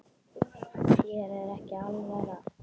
Þér er ekki alvara